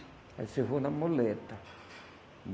Ela disse, eu vou na muleta.